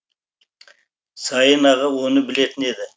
сайын аға оны білетін еді